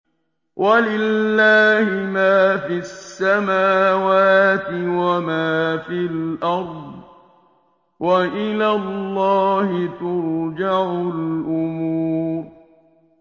وَلِلَّهِ مَا فِي السَّمَاوَاتِ وَمَا فِي الْأَرْضِ ۚ وَإِلَى اللَّهِ تُرْجَعُ الْأُمُورُ